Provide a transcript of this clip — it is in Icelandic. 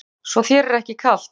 Hugrún: Svo þér er ekki kalt?